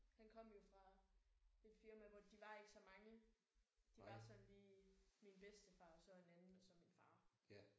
Han kom jo fra et firma hvor de var ikke så mange. De var sådan lige min bedstefar og så en anden og så min far